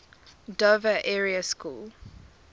dover area school